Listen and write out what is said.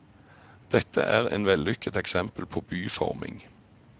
Dette er en vellykket eksempel på byforming.